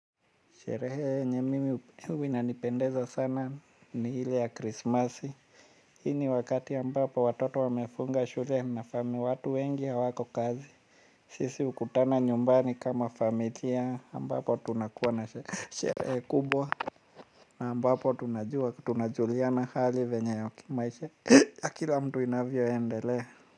Sherehe yenye mimi huwa inanipendeza sana ni ile ya krismasi. Hii ni wakati ambapo watoto wamefunga shule na fami watu wengi hawako kazi. Sisi hukutana nyumbani kama familia ambapo tunakuwa na sherehe kubwa. Na ambapo tunajua tunajuliana hali venye kimaisha ya kila mtu inavyoendelea.